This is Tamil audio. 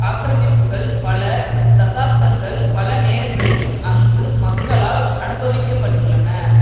ஆக்கிரமிப்புக்கள் பல தசாப்தங்கள் பல நேரங்களிலும் அங்கு மக்களால் அனுபவிக்கப்பட்டுள்ளன